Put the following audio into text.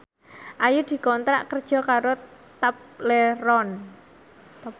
Ayu dikontrak kerja karo Tobleron